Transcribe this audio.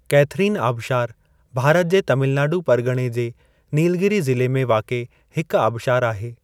Catherine आबशारु भारत जे तमिलनाडु परिग॒णे जे नीलगिरि ज़िले में वाक़िए हिकु आबशारु आहे।